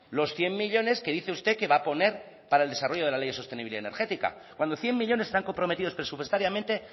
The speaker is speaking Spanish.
los cien millónes que dice usted que va a poner para el desarrollo de la ley de sostenibilidad energética cuando cien millónes están comprometidos presupuestariamente